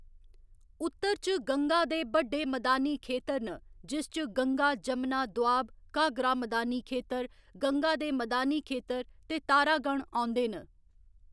उत्तर च गंगा दे बड्डे मदानी खेतर न जिस च गंगा जमना दोआब, घाघरा मदानी खेतर, गंगा दे मदानी खेतर ते तारा गण औंदे न।